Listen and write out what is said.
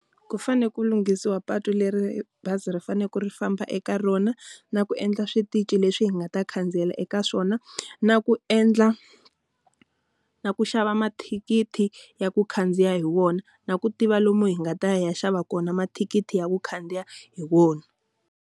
Ku fanele ku lunghisiwa patu leri bazi ri fanele ku ri famba eka rona, na ku endla switichi leswi nga ta khandziyela eka swona, na ku endla, na ku xava mathikithi ya ku khandziya hi wona, na ku tiva lomu hi nga ta ya u ya xava kona mathikithi ya ku khandziya hi wona.